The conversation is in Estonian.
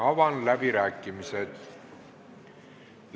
Avan läbirääkimised.